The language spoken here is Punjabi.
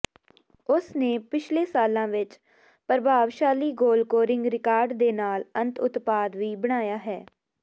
ਉਸ ਨੇ ਪਿਛਲੇ ਸਾਲਾਂ ਵਿੱਚ ਪ੍ਰਭਾਵਸ਼ਾਲੀ ਗੋਲਕੋਰਿੰਗ ਰਿਕਾਰਡ ਦੇ ਨਾਲ ਅੰਤ ਉਤਪਾਦ ਵੀ ਬਣਾਇਆ ਹੈ